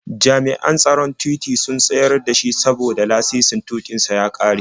Jami'an tsaron titi sun tsayar da shi saboda lasisin tuƙin sa ya ƙare.